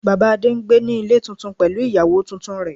Bàbá Adé n gbé ní Ilé tuntun pẹ̀lú ìyàwó tuntun rẹ̀